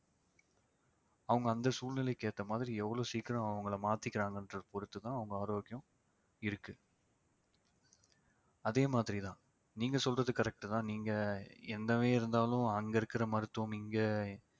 அவங்க அந்த சூழ்நிலைக்கு ஏத்த மாதிரி எவ்வளவு சீக்கிரம் அவங்களை மாத்திக்கிறாங்கன்றதை பொறுத்துதான் அவங்க ஆரோக்கியம் இருக்கு அதே மாதிரிதான் நீங்க சொல்றது correct தான் நீங்க என்னவே இருந்தாலும் அங்க இருக்கிற மருத்துவம் இங்க